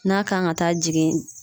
N'a kan ka taa jigin